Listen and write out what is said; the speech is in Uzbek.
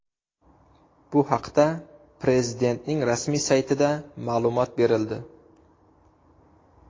Bu haqda Prezidentning rasmiy saytida ma’lumot berildi .